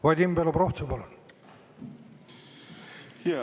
Vadim Belobrovtsev, palun!